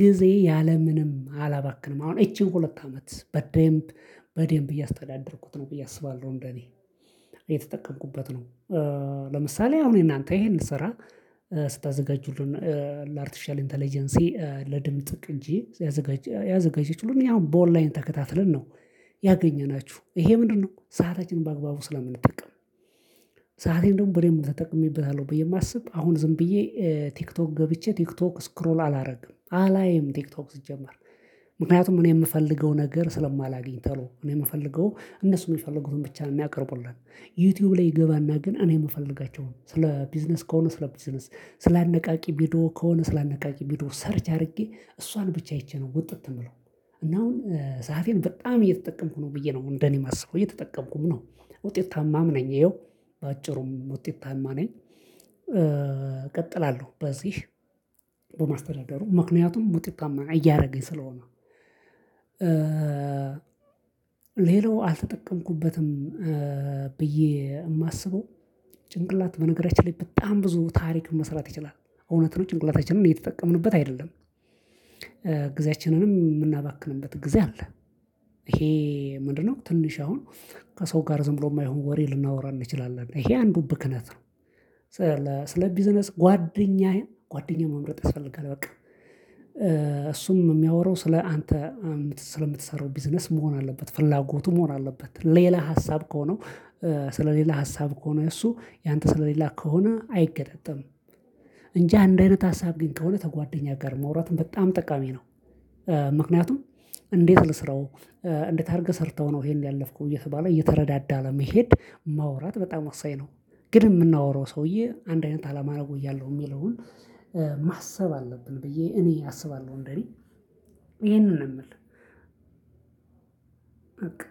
ጊዜ ያለምንም አላባክንም አሁን ይቺን ሁለት አመት በደንብ በደንብ እያስተዳደርኩት ነው ብዬ አስባለሁ እንደኔ የተጠቀምኩበት ነው። ለምሳሌ አሁን እናንተ ይሄን ልሰራ ስታዘጋጁልን ለአርቲሻል ኢንተለጀንሲ ለድምጽ ቅጂ ያዘጋጀች ሁሉም ያው በኦንላይን ተከታትለን ነው። ያገኘናችሁ ይሄ ምንድነው? ሰዓታችን በአግባቡ ስለምንጠቅም ሰአቴን ደግሞ በደምብ ተጠቅሜበታለሁ ብዬ የማስብ አሁን ዝም ብዬ ቲክቶክ ገብቼ ቲክቶክ ስክሮል አላደርግም አላይም ቲክቶክ ስጀምር ምክንያቱም እኔ የምፈልገው ነገር ስለማላገኝ ተሎ እኔ የምፈልገው እነሱን የሚፈልጉትን ብቻ ነው የሚያቀርቡልን። ዩቲዩብ ላይ እገባና ግን እኔ የምፈልጋቸው ነው ስለ ቢዝነስ ከሆነ ስለ ቢዝነስ ስለ አነቃቂ ቪዲዮ ከሆነ ስለ አነቃቂ ቢዶ ሰርች አድርጌ እሷን ብቻ አይቼ ነው ውጥት የምለው። እና አሁን ሰዓን በጣም እየተጠቀምኩ ነው ብዬ ነው እንደኔ የማስበው እየተጠቀምኩም ነው። ውጤታማም ነኝ ይኸው በአጭሩም ውጤታማ ነኝ። እቀጥላለሁ በዚህ በማስተዳደሩ ምክንያቱም ውጤታማ እያደረገኝ ስለሆነ። ሌላው አልተጠቀምኩበትም። ብዬ የማስበው ጭንቅላት በነገራችን ላይ በጣም ብዙ ታሪክ መስራት ይችላል እውነት ነው ጭንቅላታችንን እየተጠቀምንበት አይደለም። ጊዜያችንንም የምናባክንበት ጊዜ አለ። ይሄ ምንድነው? ትንሽ አሁን ከሰው ጋር ዝም ብሎ የማይሆን ወሬ ልናወራ እንችላለን ይሄ አንዱ ብክነት ነው። ስለ ቢዝነስ ጓደኛዬን ጓደኛ መምረጥ ይፈልጋል በቃ። እሱም የሚያወራው ስለ አንተ ስለምትሰራው ቢዝነስ መሆን አለበት ፍላጎቱ መሆን አለበት ሌላ ሀሳብ ከሆነው ስለ ሌላ ሀሳብ ከሆነ እሱ ያንተ ስለሌላ ከሆነ አይገጣጠምም። እንጂ አንድ አይነት ሀሳብ ግን ከሆነ ተጓደኛ ጋር መውራትም በጣም ጠቃሚ ነው። ምክንያቱም እንዴት ልስራው? እንዴት አድርገህ ሰርተሀው ነው ይሄን ያለፍኩት እየተባለ እየተረዳዳ ለመሄድ ማውራት በጣም ወሳኝ ነው። ግን የምናወራው ሰውዬ አንድ አይነት አላማ አደርጎኛለሁ የሚለውን ማሰብ አለብን ብዬ እኔ አስባለሁ። እንደኔ ይሄንን ነው የምልህ።